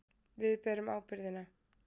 Við berum ábyrgðina.